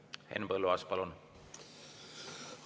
Henn Põlluaas, palun!